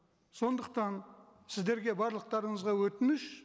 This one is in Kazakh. сондықтан сіздерге барлықтарыңызға өтініш